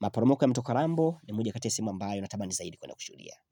Maporomoko ya mto Kalambo ni moja kati ya sehemu ambayo natamani zaidi kuenda kushuhudia.